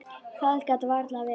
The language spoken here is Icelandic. Það gat varla verið.